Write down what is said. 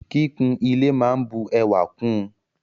Kíkún ile máa n bu ẹwà kún ùn.